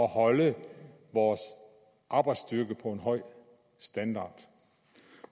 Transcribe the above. holde vores arbejdsstyrke på en høj standard